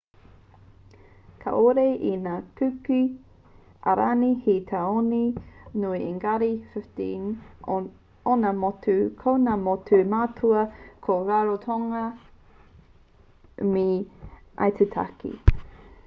kāore i ngā kuki airani he tāone nui engari 15 ōna motu ko ngā motu matua ko rarotonga me aitutaki